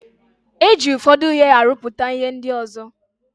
E ji ụfọdụ ihe arụpụta ihe ndị ọzo.